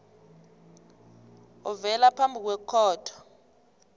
ovela phambi kwekhotho